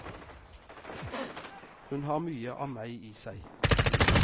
Hun har mye av meg i seg.